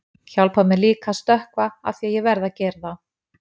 Hjálpar mér líka að stökkva afþvíað ég verð að gera það.